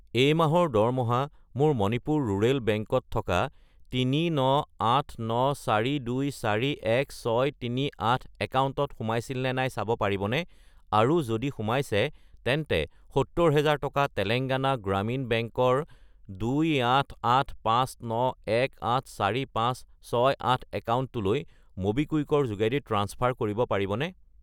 এই মাহৰ দৰমহা মোৰ মণিপুৰ ৰুৰেল বেংক ত থকা 39894241638 একাউণ্টত সোমাইছিল নে নাই চাব পাৰিবনে, আৰু যদি সোমাইছে তেন্তে 70000 টকা তেলেঙ্গানা গ্ৰামীণ বেংক ৰ 28859184568 একাউণ্টটোলৈ ম'বিকুইক ৰ যোগেদি ট্ৰাঞ্চফাৰ কৰিব পাৰিবনে?